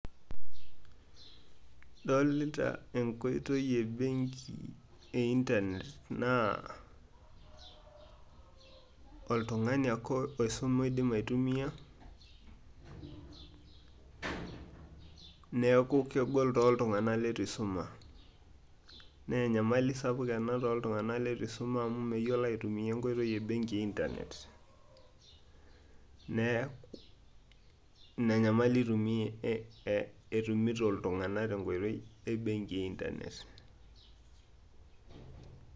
idolita enkoitoi e benki e internet naa , oltungani ake oisume oidim aitumia neeku kegol tooltunganak leitu eisuma, naa enyamali ena tooltunganak leitu isuma amu meyiolo aitumia enkoitoi e internet, neeku ina nyamali etumito iltunganak tiatu enkoitoi e internet.